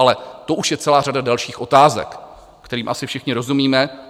Ale to už je celá řada dalších otázek, kterým asi všichni rozumíme.